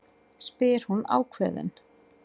spyr hún ákveðin.